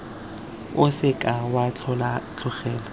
o se ka wa tlogela